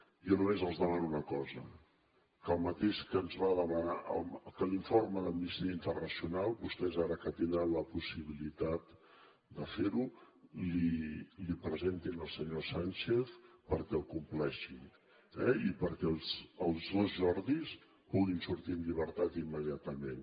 jo només els demano una cosa que l’informe d’amnistia internacional vostès ara que tindran la possibilitat de fer ho l’hi presentin al senyor sánchez perquè el compleixi eh i perquè els dos jordis puguin sortir en llibertat immediatament